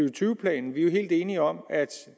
og tyve planen vi er helt enige om at